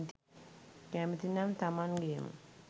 කැමති නම් තමන් ගේම